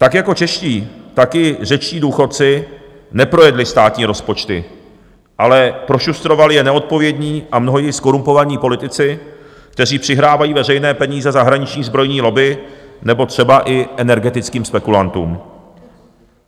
Tak jako čeští, tak i řečtí důchodci neprojedli státní rozpočty, ale prošustrovali je neodpovědní a mnohdy i zkorumpovaní politici, kteří přihrávají veřejné peníze zahraniční zbrojní lobby nebo třeba i energetickým spekulantům.